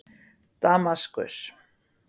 Damaskus